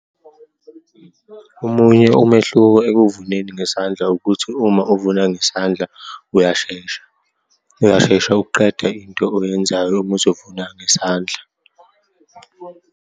Omunye umehluko ekuvuneni ngesandla, ukuthi uma uvuna ngesandla uyashesha. Uyashesha ukuqeda into oyenzayo uma uzovuna ngesandla.